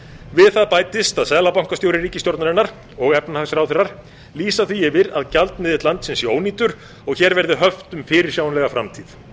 við það bætist að seðlabankastjóri ríkisstjórnarinnar og efnahagsráðherrar lýsa því af að gjaldmiðill landsins sé ónýtur og hér verði höft um fyrirsjáanlega framtíð